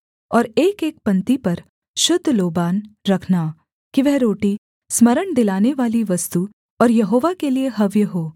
और एकएक पंक्ति पर शुद्ध लोबान रखना कि वह रोटी स्मरण दिलानेवाली वस्तु और यहोवा के लिये हव्य हो